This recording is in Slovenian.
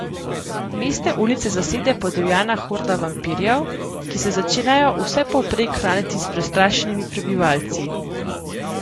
Mestne ulice zasede podivjana horda vampirjev, ki se začnejo vsepovprek hraniti s prestrašenimi prebivalci.